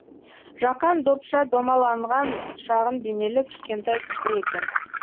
жақан допша домаланған шағын денелі кішкентай кісі екен